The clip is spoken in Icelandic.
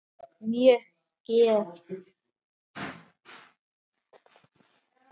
Mjög geðug.